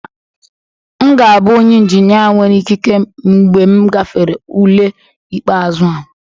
M ga-abụ onye injinia nwere ikike mgbe m gafere ule ikpeazụ a